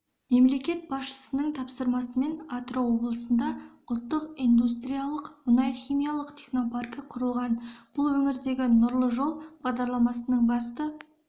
мемлекет басшысының тапсырмасымен атырау облысында ұлттық индустриялық мұнай-химиялық технопаркі құрылған бұл өңірдегі нұрлы жол бағдарламасының басты